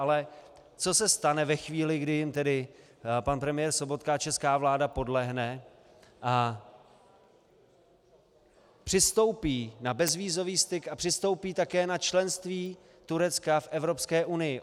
Ale co se stane ve chvíli, kdy jim tedy pan premiér Sobotka a česká vláda podlehne a přistoupí na bezvízový styk a přistoupí také na členství Turecka v Evropské unii?